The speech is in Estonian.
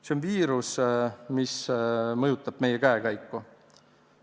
See on viirus, mis mõjutab meie käekäiku.